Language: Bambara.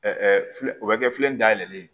filɛ o bɛ kɛ filɛ nin dayɛlɛlen ye